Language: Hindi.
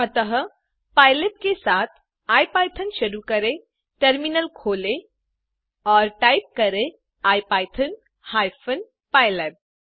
अतः pylab के साथ इपिथॉन शुरू करें टर्मिनल खोलें और टाइप करें इपिथॉन हाइफेन पाइलैब